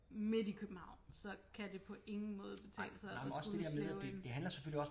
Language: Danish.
Midt i København så kan det på ingen måde betale sig at skulle slæbe en